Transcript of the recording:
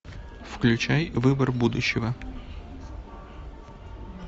включай выбор будущего